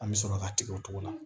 An bɛ sɔrɔ ka tigɛ o cogo la